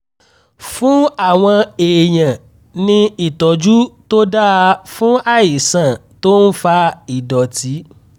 fún àwọn èèyàn ní ìtọ́jú tó dáa fún àìsàn tó ń fa ìdọ̀tí